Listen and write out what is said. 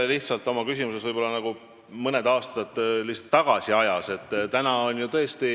Te olete oma küsimusega nagu mõne aasta taguses ajas.